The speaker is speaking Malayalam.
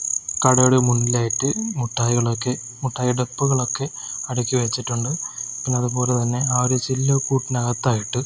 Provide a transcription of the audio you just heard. കടയുടെ മുന്നിലായിട്ട് മുട്ടായികളൊക്കെ മുട്ടായി ടപ്പകൾ ഒക്കെ അടുക്കി വെച്ചിട്ടുണ്ട് അതുപോലെതന്നെ ആ ഒരു ചില്ലുകൂട്ടിനകത്ത് ആയിട്ട്--